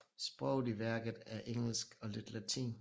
Sproget i værket er engelsk og lidt latin